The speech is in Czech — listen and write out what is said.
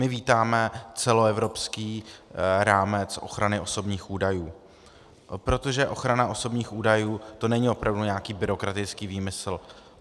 My vítáme celoevropský rámec ochrany osobních údajů, protože ochrana osobních údajů, to není opravdu nějaký byrokratický výmysl.